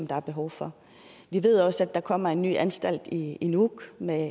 der er behov for vi ved også at der kommer en ny anstalt i nuuk med